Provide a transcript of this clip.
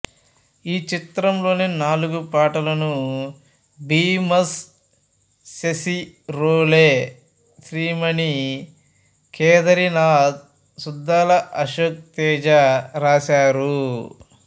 ఈ చిత్రంలోని నాలుగు పాటలను భీమస్ సెసిరోలె శ్రీమణి కేథారినాథ్ సుద్దాల అశోక్ తేజ రాశారు